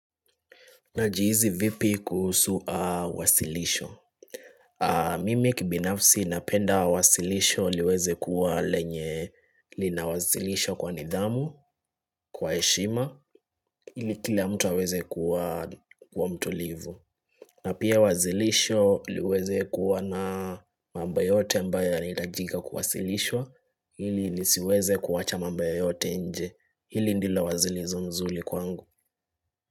Najihisi vipi kuhusu wasilisho. Mimi kibinafsi napenda wasilisho liweze kuwa lenye linawasilishwa kwa nidhamu, kwa heshima, ili kila mtu aweze kuwa mtulivu. Na pia wasilisho liweze kuwa na mambo yote ambayo yanahitajika kuwasilishwa, ili nisiweze kuacha mambo yoyote nje, ili ndilo wasilisho nzuri kwangu.